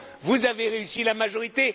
Vous avez réussi, la majorité!